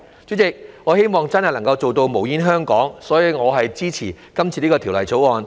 主席，我希望真的能做到"無煙香港"，所以我支持《條例草案》。